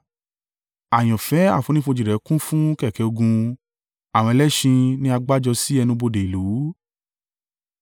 Àyànfẹ́ àfonífojì rẹ kún fún kẹ̀kẹ́ ogun, àwọn ẹlẹ́ṣin ni a gbá jọ sí ẹnu-bodè ìlú.